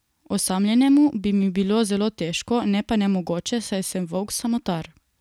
Osamljenemu bi mi bilo zelo težko, ne pa nemogoče, saj sem volk samotar.